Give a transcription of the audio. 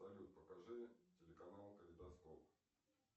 салют покажи телеканал калейдоскоп